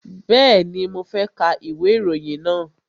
Bẹ́ẹ̀ni, mo fẹ́ ka ìwé ìròyìn náà